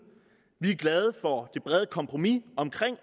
vi er glade for det brede kompromis omkring